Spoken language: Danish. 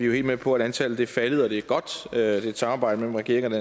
jo helt med på at antallet er faldet og det er godt det er et samarbejde mellem regeringen